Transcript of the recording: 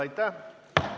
Aitäh!